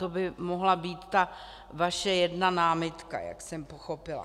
To by mohla být ta vaše jedna námitka, jak jsem pochopila.